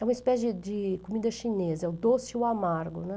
É uma espécie de de comida chinesa, é o doce e o amargo, né.